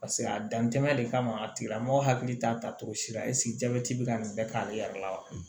Paseke a dantɛmɛ de kama a tigila mɔgɔ hakili t'a ta cogo si la jabɛti be ka nin bɛɛ k'ale yɛrɛ la wa